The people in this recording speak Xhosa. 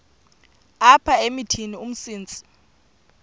apha emithini umsintsi